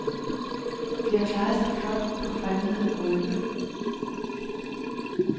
De har klaret sig flot på fremmede gulve.